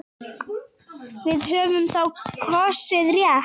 Við höfum þá kosið rétt.